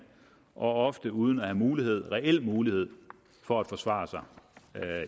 og ofte uden at have mulighed reel mulighed for at forsvare sig